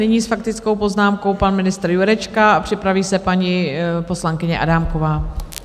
Nyní s faktickou poznámkou pan ministr Jurečka a připraví se paní poslankyně Adámková.